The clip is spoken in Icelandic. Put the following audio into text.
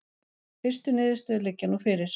Fyrstu niðurstöður liggja nú fyrir